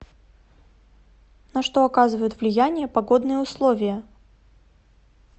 на что оказывают влияние погодные условия